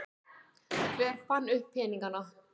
Hver fann upp peningana?